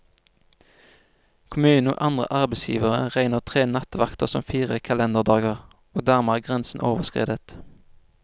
Kommunen og andre arbeidsgivere regner tre nattevakter som fire kalenderdager, og dermed er grensen overskredet.